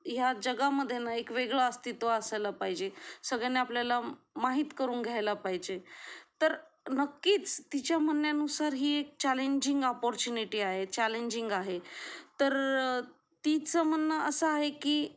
या जगा मध्ये ना एक वेगळे अस्तित्व असायला पाहिजे सगळ्यांनी आपल्याला माहीत करून घ्यायला पाहिजे, तर नक्कीच तिच्या म्हणण्यानुसार ही एक चॅलेंजिंग अपॉर्च्युनिटी आहे चॅलेंजिंग आहे तर तीचं म्हणणं अस आहे की